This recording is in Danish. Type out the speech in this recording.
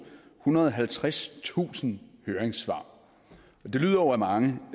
ethundrede og halvtredstusind høringssvar det lyder jo af mange